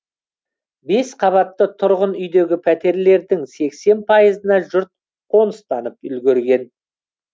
бес қабатты тұрғын үйдегі пәтерлердің сексен пайызына жұрт қоныстанып үлгерген